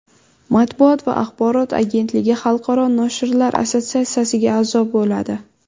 Matbuot va axborot agentligi Xalqaro noshirlar assotsiatsiyasiga a’zo bo‘ladi.